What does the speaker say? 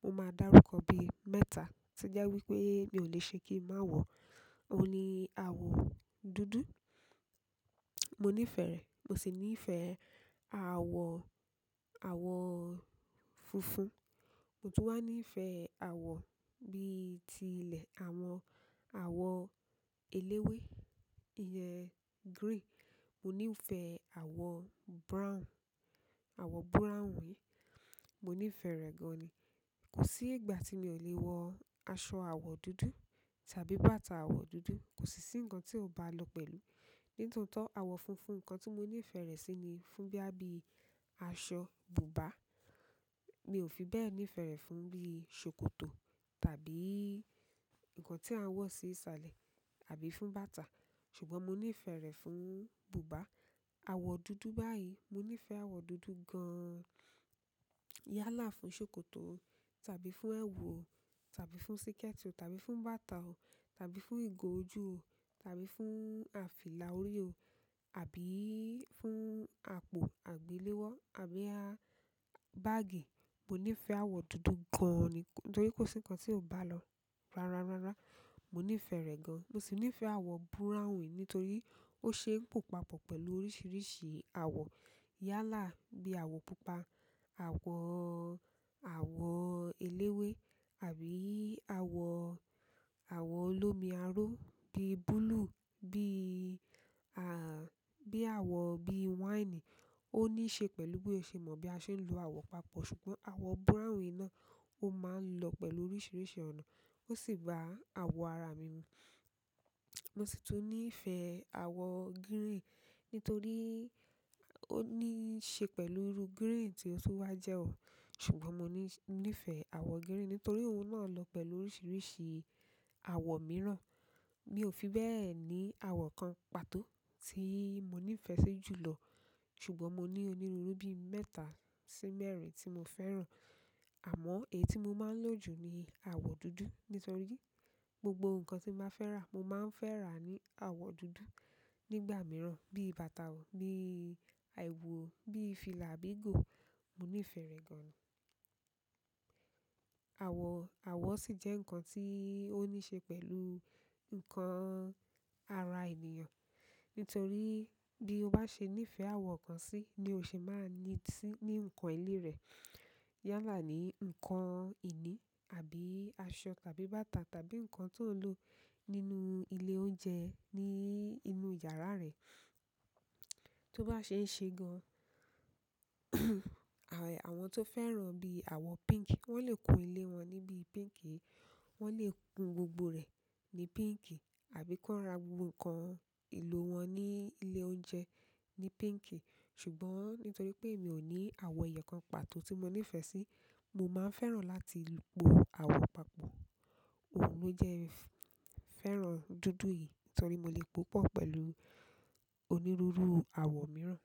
mo máa dárúkọ bíi mẹ́ta. Tó jẹ́ wípé mi ò lè ṣe kí n má wọ̀ọ́ òhun ni àwọ̀ dúdú, mo nífẹ̀ẹ́ rẹ. Mo sì nífẹ̀ẹ́ àwọ̀, àwọ̀ funfun. Mo tún wá nífẹ̀ẹ́ àwọ̀ bí i ti ilẹ̀, àwọn àwọ̀ eléwé, ìyẹn green. Mo nífẹ̀ẹ́ àwọ̀ brown, àwọ̀ búráwùn, mo nífẹ̀ẹ́ rẹ̀ gan-an ni. Kò sí ìgbà tí mi ò le wọ aṣọ àwọ̀ dúdú tàbí bàtà àwọ̀ dúdú, kò sì sí nǹkan tí ó bá lọ pẹ̀lú. Nítòótó, àwọ̀ funfun nǹkan tí mo nífẹ̀ẹ́ rẹ̀ sí ni fún bóyá bíi aṣọ bùbá. Mi ò fi bẹ́ẹ̀ nífẹ̀ẹ́ rẹ̀ fún bí i ṣòkòtò tàbí nǹkan tí a ń wọ̀ sí ìsalẹ̀ àbí fún bàtà. Ṣùgbọ́n mo nífẹ̀ẹ́ rẹ̀ fún bùbá. Àwọ̀ dúdú báyìí, mo nífẹ̀ẹ́ àwọ̀ dúdú gan-an. Yálà fún ṣòkòtò o tàbí fún ẹwù o tàbí fún síkẹ̀tì o tàbí fún bàtà o tàbí fún ìgò ojú o tàbí fún à fìlà orí o tàbí fún àpò àgbéléwọ́ àbí á báàgì. Mo nífẹ̀ẹ́ àwọ̀ dúdú gan-an nítorí kò sí nǹkan tí ó bá lọ. Rárá, rárá, mo nífẹ̀ẹ́ rẹ̀ gan-an. Mo sì nífẹ̀ẹ́ àwọ̀ búráwùn nítorí ó ṣe é pò papọ̀ pẹ̀lú oríṣiríṣi àwọ̀. Yálà bí i àwọ̀ pupa, àwọ̀, àwọ̀ eléwé àbí àwọ̀, àwọ̀ olómi aró bí i búlúù, bí i, à, bí i àwọ̀, bí i wáìnì. Ó ní ṣe pẹ̀lú bí mo ṣe mọ bí a ṣe ń lo àwọ̀ papọ̀. Ṣùgbọ́n àwọ̀ búráwùn náà ó máa ń lọ pẹ̀lú oríṣiríṣi ọ̀nà, ó sì ba àwọ̀ ara mi nu. Mo sì tún nífẹ̀ẹ́ àwọ̀ gírìn nítorí ó ní ṣe pẹ̀lú iru gírìn tí ó tún wáá jẹ́ o. Ṣùgbọ́n mo ní, nífẹ̀ẹ́ àwọ̀ gírìn nítorí òun náà lọ pẹ̀lú oríṣiríṣi àwọ̀ mìíràn. Mi ò fi bẹ́ẹ̀ ni àwọ̀ kan pàtó tí mo nífẹ̀ẹ́ sí jù lọ. Ṣùgbọ́n mo ní oníruúrú bí mẹ́ta sí mẹ́rin tí mo fẹ́ràn. Àmọ́ èyí tí mo máa ń lò jù ni àwọ̀ dúdú nítorí gbogbo nǹkan tí n bá fẹ́ rà mo máa ń fẹ́ rà ní àwọ̀ dúdú nígbà mìíràn bí i bàtà o bí ẹ̀wù o bí i fìlà àbí ìgò, mo nífẹ̀ẹ́ rẹ̀ gan-an. Àwọ̀, àwọ̀ sì jẹ́ nǹkan tí ó ní ṣe pẹ̀lú nǹkan ara ènìyàn. Nítorí bí o bá ṣe nífẹẹ àwọ̀ kan sí ni o ṣe máa ń ní sí ní nǹkan ìní rẹ yálà ni ǹkan ìní àbí aṣọ tàbí bàtà tàbí nǹkan tó ń lò nínú ilé oúnjẹ, ní inú yàrá rẹ. Tó bá ṣeé ṣe gan-an àwọn tí ó fẹ́ràn bíi àwọ pink wọ́n lè kun ilé wọn ní bíi pink yẹn. Wọ́n lè kun gbogbo rẹ̀ ní pink àbí kí wọn ra gbogbo ǹkan ìlò wọn ní ilé oúnjẹ ní pink. Ṣùgbọ́n nítorí pé èmi ò ní àwọ̀ ẹyọ kan pàtó tí mo nífẹ̀ẹ́ sí, mo máa ń fẹ́ràn láti po àwọ̀ papọ̀. Òun ló jẹ́ n fẹ́ràn dúdú yìí nítorí mo lè pòópọ̀ pẹ̀lú onírúurú àwọ̀ mìíràn.